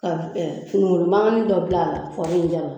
Ka finigolo mangani dɔ bila a la, kɔri in